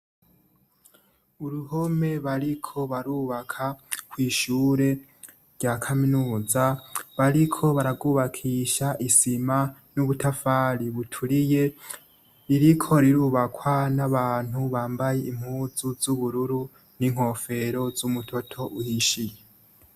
Impome bariko barubaka kw'ishure rya kaminuza bariko bararwubakisha isima n'ubutafari buturiye ririko rirubakwa n'abantu bambaye impuzu z'ubururu n'inkofero z'umutoto uhishiye.